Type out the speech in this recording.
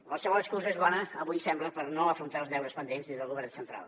qualsevol excusa és bona avui sembla per no afrontar els deures pendents des del govern central